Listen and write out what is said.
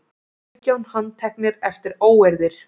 Sautján handteknir eftir óeirðir